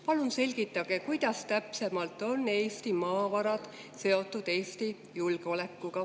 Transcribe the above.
Palun selgitage, kuidas täpsemalt on Eesti maavarad seotud Eesti julgeolekuga.